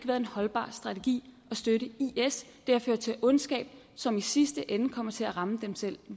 været en holdbar strategi at støtte is det har ført til ondskab som i sidste ende kommer til at ramme dem selv